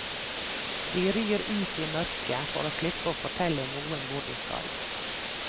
De rir ut i mørket, for å slippe å fortelle noen hvor de skal.